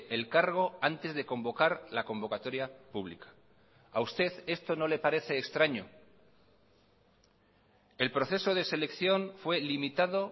el cargo antes de convocar la convocatoria pública a usted esto no le parece extraño el proceso de selección fue limitado